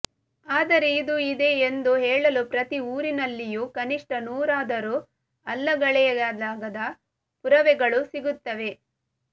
ಆದರೆ ಇದು ಇದೆ ಎಂದು ಹೇಳಲು ಪ್ರತಿ ಊರಿನಲ್ಲಿಯೂ ಕನಿಷ್ಠ ನೂರಾದರೂ ಅಲ್ಲಗಳೆಯಲಾಗದ ಪುರಾವೆಗಳು ಸಿಗುತ್ತವೆ